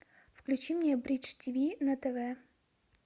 включи мне бридж тв на тв